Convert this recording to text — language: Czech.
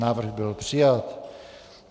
Návrh byl přijat.